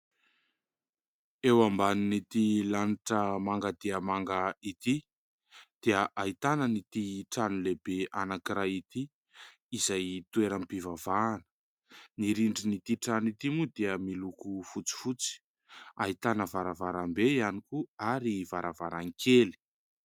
Eo ambanin'ity lanitra manga dia manga ity dia ahitana ity trano lehibe anankiray ity, izay toeram-pivavahana, ny rindrin'ity trano ity moa dia miloko fotsifotsy, ahitana varavarambe ihany koa ary varavarankely.